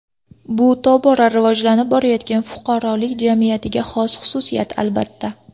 Bu tobora rivoj topayotgan fuqarolik jamiyatiga xos xususiyat, albatta.